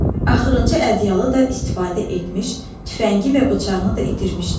Axırıncı ədyalı da istifadə etmiş, tüfəngi və bıçağını da itirmişdi.